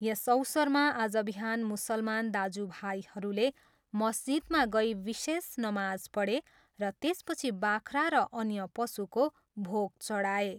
यस अवसरमा आज बिहान मुसलमान दाजु भाइहरूले मस्जिदमा गई विशेष नमाज पढे र त्यसपछि बाख्रा र अन्य पशुको भोग चढाए।